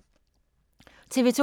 TV 2